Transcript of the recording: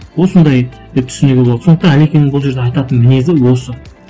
осындай і түсінігі болды сондықтан әлекеңнің бұл жерде айтатын мінезі осы